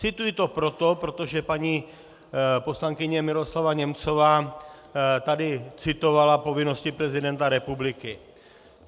Cituji to proto, protože paní poslankyně Miroslava Němcová tady citovala povinnosti prezidenta republiky.